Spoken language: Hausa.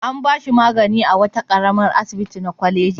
An ba shi magani a wani ƙaramin asibiti na wata kwaleji.